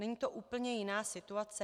Není to úplně jiná situace?